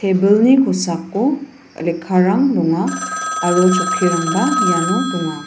ebilni kosako lekkarang donga aro chokkirangba iano donga.